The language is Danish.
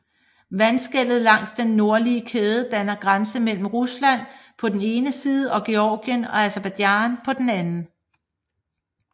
Vandskellet langs den nordlige kæde danner grænse mellem Rusland på den ene side og Georgien og Aserbajdsjan på den anden